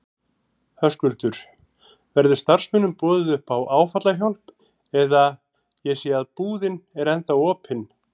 Höskuldur: Verður starfsmönnum boðið upp á áfallahjálp eða, ég sé að búðin er ennþá opin?